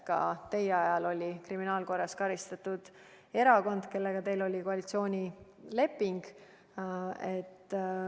Ka teie ajal oli parlamendis kriminaalkorras karistatud erakond, kellega teil oli koalitsioonileping.